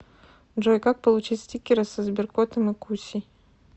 джой как получить стикеры со сберкотом и кусей